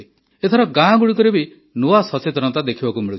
ଏଥର ଗାଁଗୁଡ଼ିକରେ ବି ନୂଆ ସଚେତନତା ଦେଖିବାକୁ ମିଳୁଛି